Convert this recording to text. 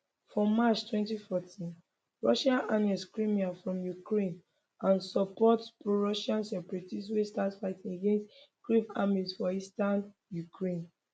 for march 2014 russia annex crimea from ukraine and support prorussian separatists wey start fight against kyiv army for eastern ukraine